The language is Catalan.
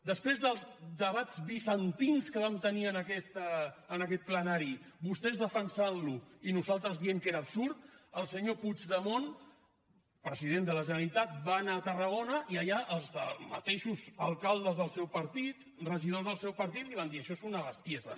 després dels debats bizantins que vam tenir en aquest plenari vostès defensant lo i nosaltres dient que era absurd el senyor puigdemont president de la generalitat va anar a tarragona i allà els mateixos alcaldes del seu partit regidors del seu partit li van dir això és una bestiesa